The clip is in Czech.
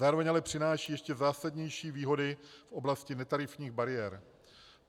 Zároveň ale přináší ještě zásadnější výhody v oblasti netarifních bariér.